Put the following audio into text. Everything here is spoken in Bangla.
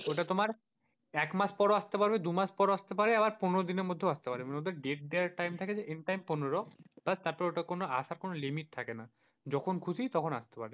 এক মাস পরেও আসতে পারবে, দুমাস পরও আসতে পারে, আবার পনেরো দিনের মধ্যে আসতে পারে, মোট কথা get there টাইম থাকে end time পনেরো, তারপর ওটা আসার কোন limit থাকে না যখন খুশি তখন আসতে পারে।